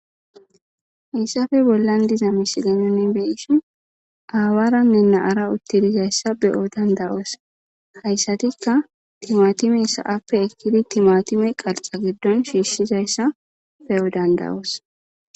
Hayssape bollan diza misile nuni be'ishin aawaranne na'ara utti dizayssa be'o dandda'oos hayssatikka timatime sa'appe ekkidi timatime qarxxa giddon shiishshizayssa be'o dandda'oos.